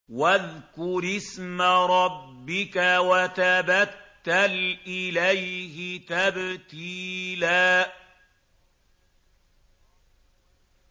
وَاذْكُرِ اسْمَ رَبِّكَ وَتَبَتَّلْ إِلَيْهِ تَبْتِيلًا